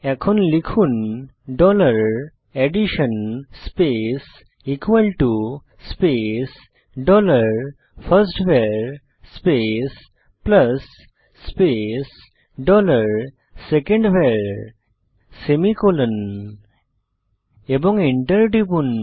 এখন লিখুন dollar addition space space dollar first var space plus space dollar second var semicolon এবং enter টিপুন